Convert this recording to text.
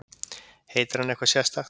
Heitir hann eitthvað sérstakt?